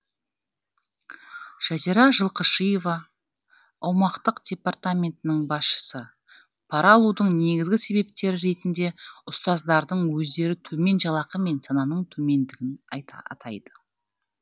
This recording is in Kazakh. жазира жылқышиева аумақтық департаментінің басшысы пара алудың негізгі себептері ретінде ұстаздардың өздері төмен жалақы мен сананың төмендігін атайды